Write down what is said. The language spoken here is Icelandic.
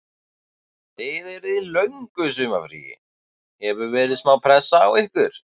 Þið eruð í löngu sumarfríi, hefur verið smá pressa á ykkur?